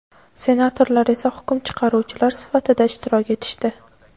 senatorlar esa hukm chiqaruvchilar sifatida ishtirok etishdi.